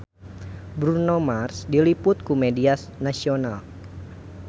Bruno Mars diliput ku media nasional